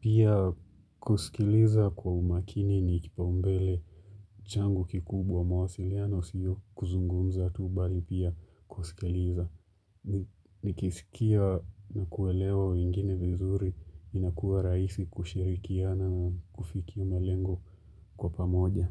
Pia kusikiliza kwa umakini ni kipau mbele changu kikubwa mawasiliano sio kuzungumza tuu bali pia kusikiliza. Nikisikia na kuelewa wengine vizuri inakuwa raisi kushirikiana na kufikia malengo kwa pamoja.